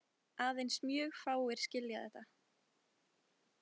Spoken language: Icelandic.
Aðeins mjög fáir skilja þetta.